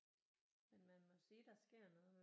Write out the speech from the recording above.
Men man må sige der sker noget med